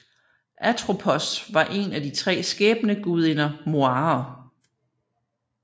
Atropos var en af de tre skæbnegudinger Moirer